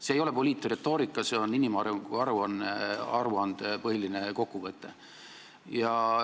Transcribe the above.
See ei ole poliitretoorika, see on inimarengu aruande põhiline kokkuvõte.